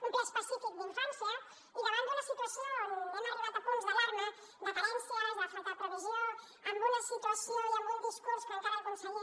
un ple específic d’infància i davant d’una situació on hem arribat a punts d’alarma de carències de falta de previsió amb una situació i amb un discurs que encara el conseller